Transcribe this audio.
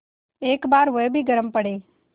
एक बार वह भी गरम पड़े